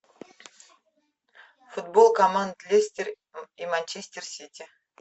футбол команд лестер и манчестер сити